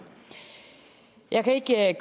i